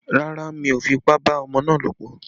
Rárá, mi ò fipá bá ọmọ náà lòpọ̀?